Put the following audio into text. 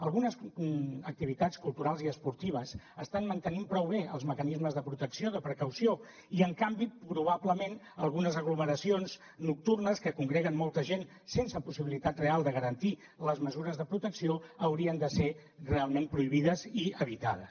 algunes activitats culturals i esportives estan mantenint prou bé els mecanismes de protecció de precaució i en canvi probablement algunes aglomeracions nocturnes que congreguen molta gent sense possibilitat real de garantir les mesures de protecció haurien de ser realment prohibides i evitades